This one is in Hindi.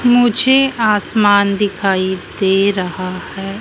मुझे आसमान दिखाई दे रहा है।